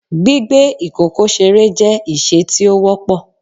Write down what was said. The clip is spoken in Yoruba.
Gbigbe ikoko sere jẹ iṣe ti o wọpọ